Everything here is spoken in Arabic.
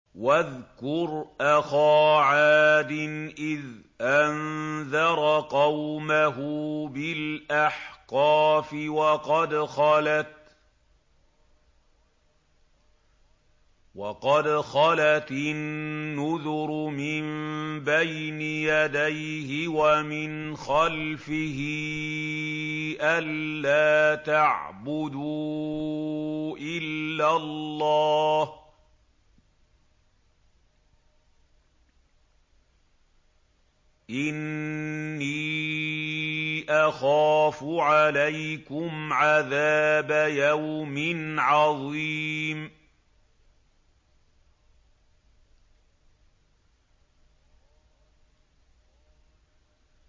۞ وَاذْكُرْ أَخَا عَادٍ إِذْ أَنذَرَ قَوْمَهُ بِالْأَحْقَافِ وَقَدْ خَلَتِ النُّذُرُ مِن بَيْنِ يَدَيْهِ وَمِنْ خَلْفِهِ أَلَّا تَعْبُدُوا إِلَّا اللَّهَ إِنِّي أَخَافُ عَلَيْكُمْ عَذَابَ يَوْمٍ عَظِيمٍ